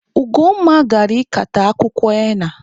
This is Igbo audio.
Ugonma gara ikata akwụkwọ henna.